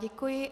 Děkuji.